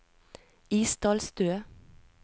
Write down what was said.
Isdalstø